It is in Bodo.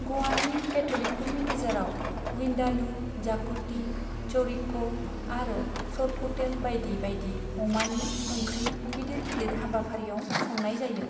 गवानि कैथ'लिकफोरनि गेजेराव विंडालु, जाकुटी, चौरिको आरो सोरपोटेल बाइदि बाइदि अमानि ओंख्रि गिदिर गिदिर हाबाफारियाव संनाय जायो।